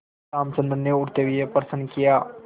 रामचंद्र ने उठते हुए प्रश्न किया